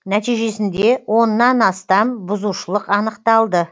нәтижесінде оннан астам бұзушылық анықталды